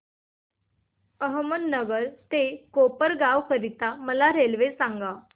अहमदनगर ते कोपरगाव करीता मला रेल्वे सांगा